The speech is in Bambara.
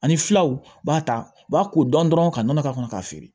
Ani filaw b'a ta u b'a ko dɔn dɔrɔn ka nɔnɔ k'a kɔnɔ k'a feere